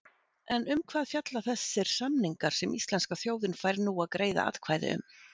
En um hvað fjalla þessir samningar sem íslenska þjóðin fær nú að greiða atkvæði um?